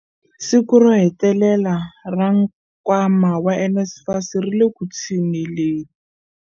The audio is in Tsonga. Siku ro hetelela ra nkwama wa NSFAS ri le ku tshuneleni.